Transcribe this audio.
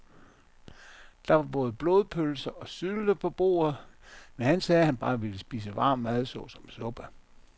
Der var både blodpølse og sylte på bordet, men han sagde, at han bare ville spise varm mad såsom suppe.